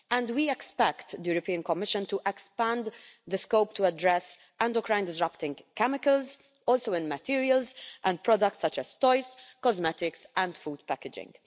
We expect the European Commission to expand the scope to address endocrine disrupting chemicals also in materials and products such as toys, cosmetics and food packaging.